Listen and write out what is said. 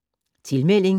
Tilmelding